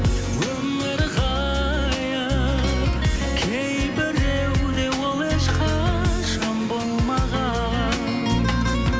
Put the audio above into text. өмір ғайып кейбіреуде ол ешқашан болмаған